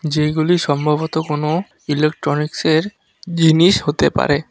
যেইগুলি সম্ভবত কোনো ইলেকট্রনিক্সের জিনিস হতে পারে।